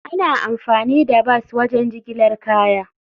Ana amfani da bas wajen jigilar kaya.